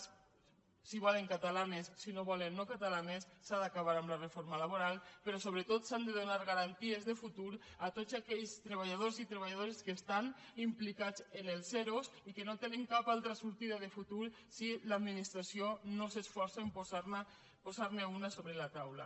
si ho volen catalanes si no ho volen no catalanes s’ha d’acabar amb la reforma laboral però sobretot s’han de donar garanties de futur a tots aquells treballadors i treballadores que estan implicats en els ero i que no tenen cap altra sortida de futur si l’administració no s’esforça en posar ne una sobre la taula